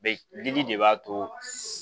de b'a to